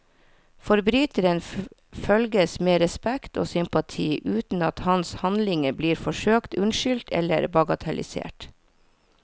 Forbryteren følges med respekt og sympati, uten at hans handlinger blir forsøkt unnskyldt eller bagatellisert.